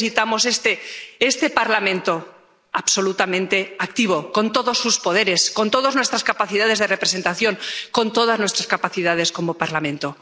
Y por eso necesitamos este Parlamento absolutamente activo, con todos sus poderes, con todas nuestras capacidades de representación, con todas nuestras capacidades como Parlamento.